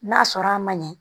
N'a sɔrɔ a ma ɲɛ